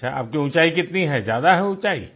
अच्छा आपकी ऊंचाई कितनी है ज्यादा है ऊंचाई